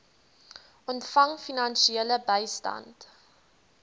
ontvang finansiële bystand